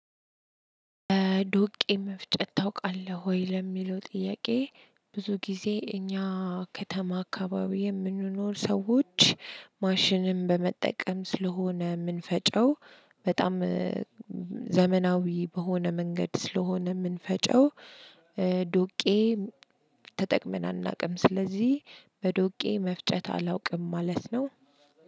ዶቄ መፍጨት ታውቃለህ ወይ? ለሚለው ጥያቄ ብዙ ጊዜ እኛ ከተማ አካባቢ የምንኖር ሰዎች፤ ማሽንም በመጠቀም ስለሆነ ምንፈጨው፤ በጣም ዘመናዊ በሆነ መንገድ ስለሆነ የምንፈጨው ዱቄ ተጠቅመን አናውቅም፤ ስለዚህ በዶቄ መፍጨት አላውቅም ማለት ነው።